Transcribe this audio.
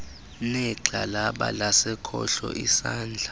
negxalaba lasekhohlo isandla